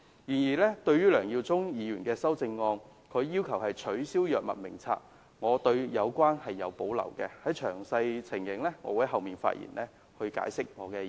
但是，我對於梁耀忠議員的修正案要求取消《醫院管理局藥物名冊》有所保留，我稍後的發言會詳細解釋我的意見。